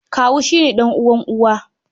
Kawu shi ke ɗan'uwan uwa.